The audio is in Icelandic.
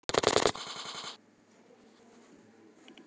Sölvína, hver syngur þetta lag?